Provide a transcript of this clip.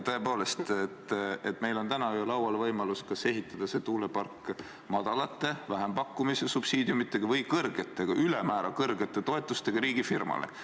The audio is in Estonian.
Tõepoolest, meil on täna ju laual võimalus ehitada see tuulepark madalate, vähempakkumise subsiidiumidega või siis ülemäära suurte toetustega riigifirmale.